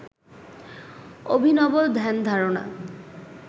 অভিনব ধ্যানধারণা